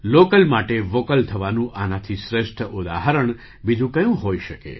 local માટે vocal થવાનું આનાથી શ્રેષ્ઠ ઉદાહરણ બીજું કયું હોઈ શકે